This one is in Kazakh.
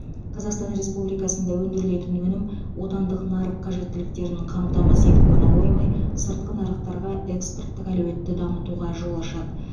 қазақстан республикасында өндірілетін өнім отандық нарық қажеттіліктерін қамтамасыз етіп қана қоймай сыртқы нарықтарға экспорттық әлеуетті дамытуға жол ашады